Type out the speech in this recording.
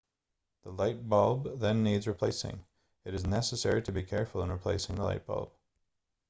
the light bulb then needs replacing it is necessary to be careful in replacing the light bulb